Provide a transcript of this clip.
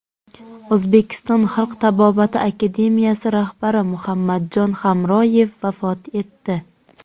O‘zbekiston xalq tabobati akademiyasi rahbari Muhammadjon Hamroyev vafot etdi.